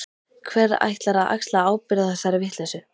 Hver ætlar að axla ábyrgð á þessari vitleysu?